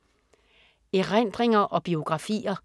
Erindringer og biografier